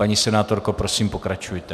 Paní senátorko, prosím, pokračujte.